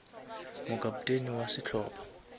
mo kapteni wa sehlopa